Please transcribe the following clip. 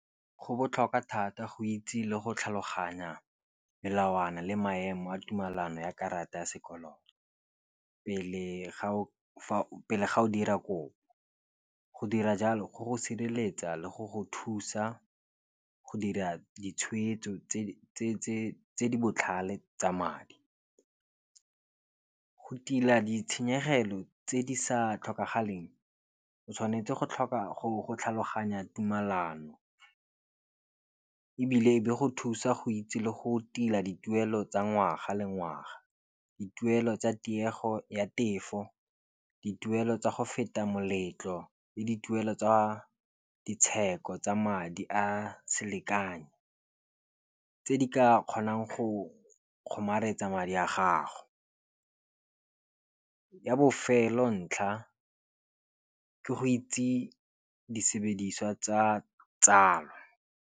Go botlhokwa thata go itse le go tlhaloganya melawana le maemo a tumellano ya karata ya sekoloto. Pele ga o o dira kopo, go dira jalo go go sireletsa le go go thusa go dira ditshwetso tse di botlhale tsa madi. Go tila ditshenyegelo tse di sa tlhokagaleng o tshwanetse go tlhaloganya tumelano. Ebile e be go thusa go itse le go tila dituelo tsa ngwaga le ngwaga. Dituelo tsa tiego ya tefo, dituelo tsa go feta moletlo le dituelo tsa ditsheko tsa madi a selekano tse di ka kgonang go kgomaretsa madi a gago. Ya bofelo ntlha ke go itse disebediswa tsa tsalo.